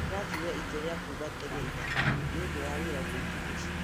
Ndiratuĩre itua rĩa kuuma tene ira nĩ ũndũ wa wĩra mũingĩ mũciĩ